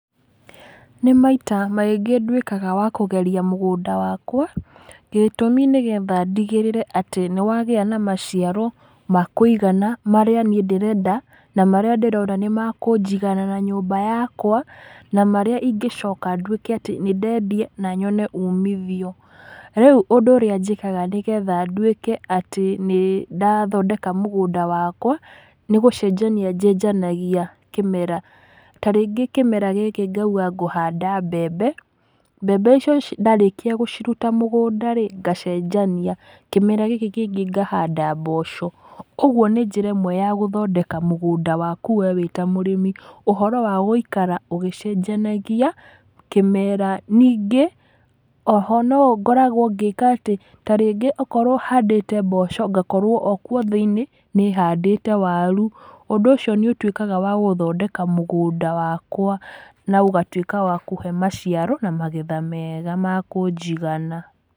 Nĩ maita maingĩ nduĩkaga wa kũgeria mũgũnda wakwa, gĩtũmi nĩgetha ndigĩrĩre atĩ nĩ wagĩa na maciaro makũigana marĩa niĩ ndĩrenda na marĩa ndĩrona nĩ makũnjigana na nyũmba yakwa, na marĩa ingĩ coka ndũĩke atĩ nĩ ndedia na nyone ũmithio. Rĩu ũndũ ũrĩa njĩkaga nĩgetha nduĩke atĩ nĩ ndathondeka mũgũnda wakwa nĩ gũcenjania njenjanagia kĩmera tarĩngĩ kĩmera gĩkĩ ngauga ngũhanda mbembe mbembe icio ndarĩkia gũciruta mũgũnda rĩ ngacenjania kĩmera gĩkĩ kĩngĩ ngahanda mboco koguo nĩ njĩra ĩmwe ya gũthondeka mũgũnda we wĩ ta mũrĩmi ũhoro wa gũikara ũgĩcenjanagia kĩmera. Ningĩ oho no ngoragwo ngĩka atĩ tarĩngĩ no korwo handĩte mboco ngakorwo okuo thĩini nĩ handĩte waru ũndũ ũcio nĩ ũtuĩkaga wa gũthondeka mũgũnda wakwa na ũgatuika wa kũhe maciaro na magetha mega makũnjigana.